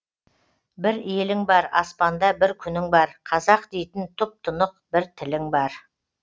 бір елің бар аспанда бір күнің бар қазақ дейтін тұп тұнық бір тілің бар